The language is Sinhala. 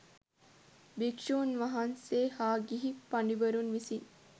භික්‍ෂූන් වහන්සේ හා ගිහි පඬිවරුන් විසින්